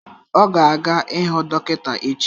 Ọ ga-aga ịhụ dọkịta echi.